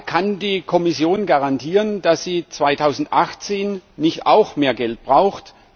Kann die Kommission garantieren, dass sie 2018 nicht auch mehr Geld braucht?